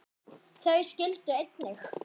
Þau skildu einnig.